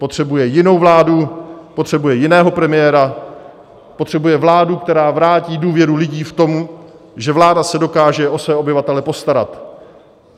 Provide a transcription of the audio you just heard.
Potřebuje jinou vládu, potřebuje jiného premiéra, potřebuje vládu, která vrátí důvěru lidí v to, že vláda se dokáže o své obyvatele postarat.